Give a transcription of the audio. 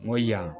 N ko yan